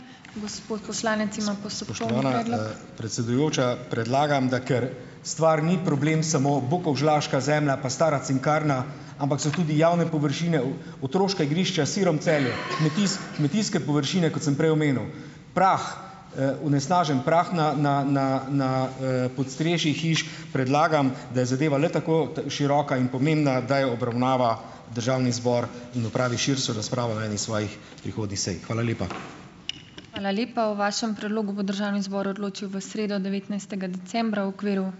Predsedujoča, predlagam, da kar stvar ni problem samo bukovžlaška zemlja, pa stara cinkarna, ampak so tudi javne površine v, otroška igrišča širom Celja, kmetijske površine, kot sem prej omenil, prah, onesnažen prah na, na, na, na, podstrešjih hiš. Predlagam, da je zadeva le tako široka in pomembna, da jo obravnava državni zbor in opravi širšo razpravo na eni svojih prihodnjih sej. Hvala lepa.